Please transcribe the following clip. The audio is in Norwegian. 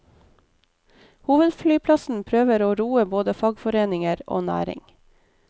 Hovedflyplassen prøver å roe både fagforeninger og næring.